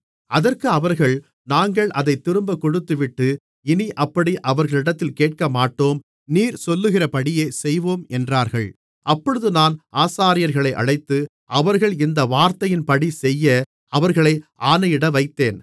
அதற்கு அவர்கள் நாங்கள் அதைத் திரும்பக் கொடுத்துவிட்டு இனி அப்படி அவர்களிடத்தில் கேட்கமாட்டோம் நீர் சொல்லுகிறபடியே செய்வோம் என்றார்கள் அப்பொழுது நான் ஆசாரியர்களை அழைத்து அவர்கள் இந்த வார்த்தையின்படி செய்ய அவர்களை ஆணையிட வைத்தேன்